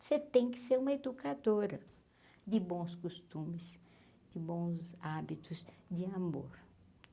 Você tem que ser uma educadora de bons costumes, de bons hábitos, de amor.